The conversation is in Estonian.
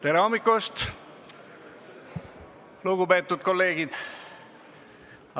Tere hommikust, lugupeetud kolleegid!